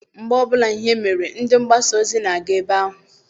Mgbe ọbụla ihe mere, ndị mgbasa ozi na-aga ebe ahụ.